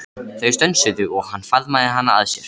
Þau stönsuðu og hann faðmaði hana að sér.